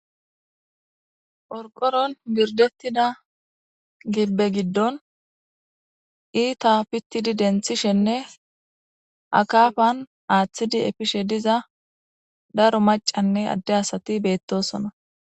orqoron birdettida gibbe giddon iita pittidi denthishenne akafan aaththidi efishe diza daro macanne adde asati beettosona